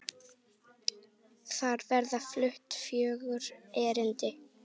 Þar verða flutt fjögur erindi.